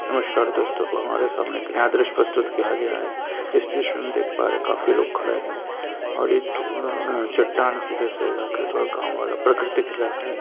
नमस्कार दोस्तों हमारे सामने एक नया दृश्य प्रस्तुत किया गया है इस दृश्य में हम देख पा रहे हैं काफी लोग खड़े है और एक ठो चट्टान के जैसे इलाका है थोड़ा गाँव वाला प्राकृतिक इलाका है।